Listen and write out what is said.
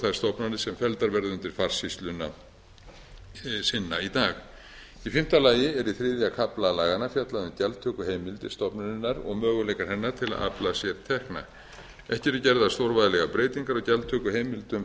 þær stofnanir sem felldar verða undir farsýsluna sinna í dag í fimmta lagi er í þriðja kafla laganna fjallað um gjaldtökuheimildir stofnunarinnar og möguleika hennar til að afla sér tekna ekki eru gerðar stórvægilegar breytingar á gjaldtökuheimildum